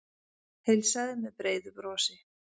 Heilsaði með breiðu brosi.